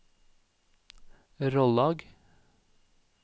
Rollag